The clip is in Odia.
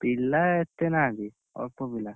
ପିଲା, ଏତେନାହାନ୍ତି। ଅଳ୍ପ ପିଲା।